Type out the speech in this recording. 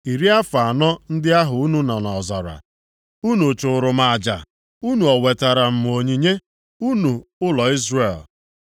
“Iri afọ anọ ndị ahụ unu nọ nʼọzara, unu chụụrụ m aja, unu o wetara m onyinye, unu ụlọ Izrel?